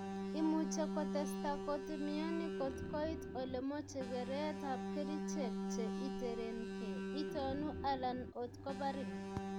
Imuche kotesta kot mioni kot koit ole moche keret ap kerichek, che iterenke, itonu alan ot koparin